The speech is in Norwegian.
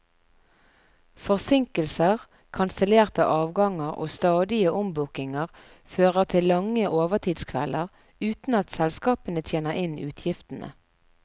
Forsinkelser, kansellerte avganger og stadige ombookinger fører til lange overtidskvelder, uten at selskapene tjener inn utgiftene.